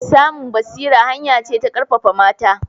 Samun basira hanya ce ta ƙarfafa mata